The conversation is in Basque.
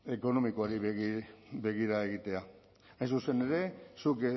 ekonomikoari begira egitea hain zuzen ere zuk